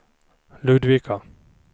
Ludvika